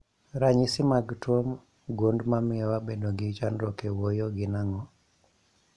Ranyisi mag tuo gund mamio wabedo gi chandruok e wuoyo gin ang'o?